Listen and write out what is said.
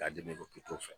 K'a di ne ma pewu